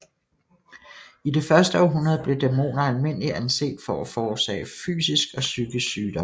I det første århundrede blev dæmoner almindeligt anset for at forårsage fysisk og psykisk sygdom